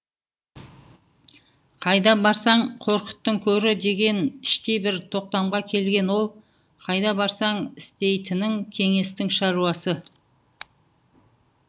қайда барсаң қорқыттың көрі деген іштей бір тоқтамға келген ол қайда барсаң істейтінің кеңестің шаруасы